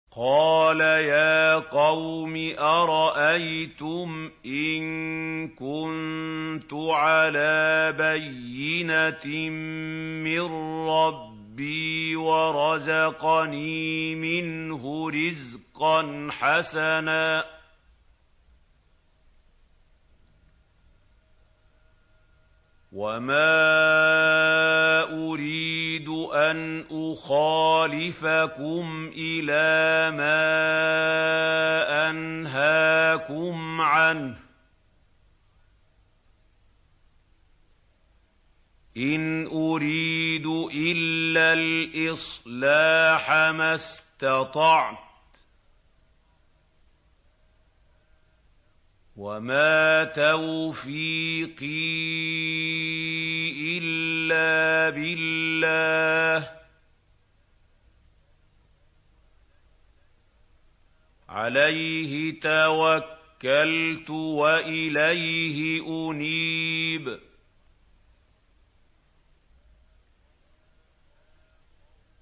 قَالَ يَا قَوْمِ أَرَأَيْتُمْ إِن كُنتُ عَلَىٰ بَيِّنَةٍ مِّن رَّبِّي وَرَزَقَنِي مِنْهُ رِزْقًا حَسَنًا ۚ وَمَا أُرِيدُ أَنْ أُخَالِفَكُمْ إِلَىٰ مَا أَنْهَاكُمْ عَنْهُ ۚ إِنْ أُرِيدُ إِلَّا الْإِصْلَاحَ مَا اسْتَطَعْتُ ۚ وَمَا تَوْفِيقِي إِلَّا بِاللَّهِ ۚ عَلَيْهِ تَوَكَّلْتُ وَإِلَيْهِ أُنِيبُ